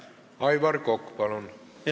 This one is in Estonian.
Aivar Kokk, palun!